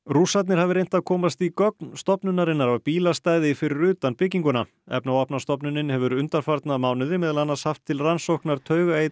Rússarnir hafi reynt að komast í gögn stofnunarinnar af bílastæði fyrir utan bygginguna efnavopnastofnunin hefur undanfarna mánuði meðal annars haft til rannsóknar